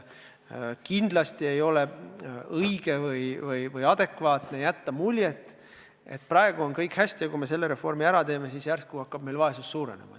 Kindlasti ei ole õige või adekvaatne jätta muljet, et praegu on kõik hästi ja et kui me selle reformi ära teeme, siis hakkab vaesus meil järsku suurenema.